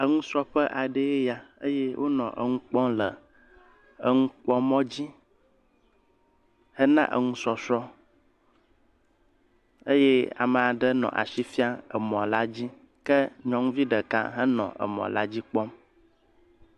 Enusrɔ̃ƒe aɖee ya eye wonɔ enu kpɔm le enukpɔmɔ dzi hena enusɔ̃srɔ̃ eye ame aɖe nɔ asi fiam emɔ la dzi ke nyɔnuvi ɖeka henɔ emɔ la dzi kpɔm.